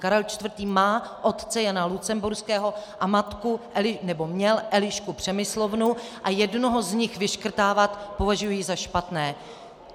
Karel IV. má otce Jana Lucemburského a matku - nebo měl - Elišku Přemyslovnu a jednoho z nich vyškrtávat považuji za špatné.